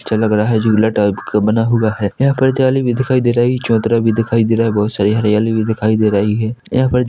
अच्छा लग रहा हैं झूला टाइप का बना हुआ हैं यहाँ पर जाली भी दिखाई दे रही हैं चबूतरा भी दिखाई दे रहा हैं बहोत सारी हरियाली दिखाई दे रही हैं यहाँ पर ज--